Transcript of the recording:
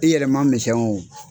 I yɛrɛ ma misɛn wo